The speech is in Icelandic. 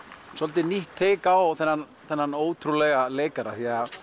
svolítið nýtt take á þennan þennan ótrúlega leikara